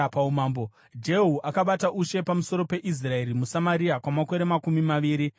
Jehu akabata ushe pamusoro peIsraeri muSamaria kwamakore makumi maviri namasere.